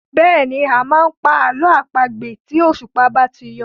Bẹ́ẹ̀ni, a máa ń pa àlọ́ àpagbè tí òṣùpá bá ti yọ.